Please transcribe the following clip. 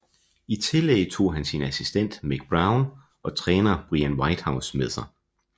I tillæg tog han sin assistent Mick Brown og træner Brian Whitehouse med sig